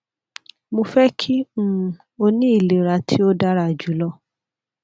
mo fẹ ki um o ni ilera ti o dara julọ